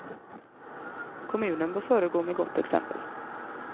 Kommunen bör föregå med gott exempel.